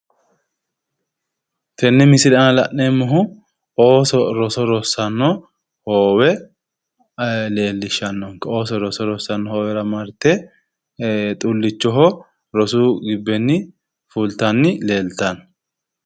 Tenne misile aana la'neemmohu ooso roso rossanno gibbera marte xullichoho rosu gibbenni filtanni leeltanno